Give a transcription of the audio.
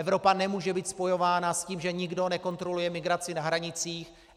Evropa nemůže být spojována s tím, že nikdo nekontroluje migraci na hranicích.